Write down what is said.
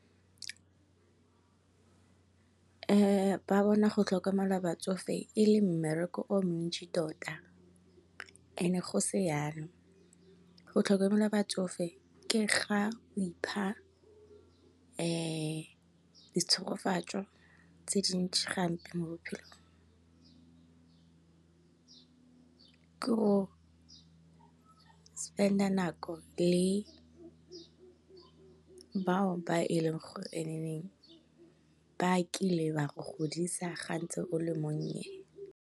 Ba bona go tlhokomela batsofe e le mmereko o montsi tota and e go se yalo. Go tlhokomela batsofe ke ga o ipha di tshegofatso ka tse dintsi gampe mo bophelong. Ke go spend-a nako le, bao ba e leng gore ba kile ba go godisa ga ntse o le monnye